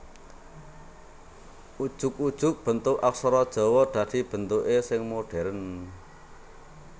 Ujug ujug bentuk aksara Jawa dadi bentuké sing modhèrn